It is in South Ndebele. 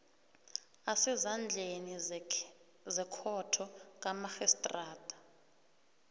asezandleni zekhotho kamarhistrada